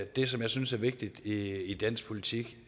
det som jeg synes er vigtigt i dansk politik